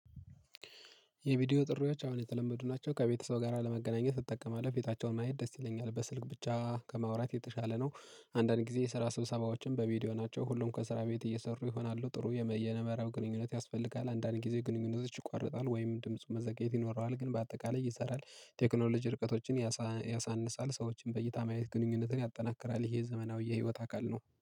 የቪዲዮ ጥሪዎች አሁን የተለመዱ ናቸው ከቤተሰብ ጋር ለመገናኘት እጠቀማለሁ ቤታቸውን ማየት ደስ ይለኛል በስልክ ብቻ ከማውራት የተሻለ ነው። አንዳንድ ጊዜ የስራ ስብሰባዎችን በቪዲዮ ናቸው ሁሉም ከስራ ቤት እየሰሩ ይሆናሉ ጥሩ የመየነ መራው ግንኙነት ያስፈልጋል። አንዳንድ ጊዜ ግንኙነቶች ይቋርጣል ወይም ድምፁ መዘግየት ይኖረዋል ግን በአጠቃላይ ይሰራል። ቴክኖሎጂ ርቀቶችን ያሳ ያሳንሳል ሰዎችን በእይታ ማየት ግንኙነትን ያጠናክራል። ይሄ ዘመናዊ የህይወት አካል ነው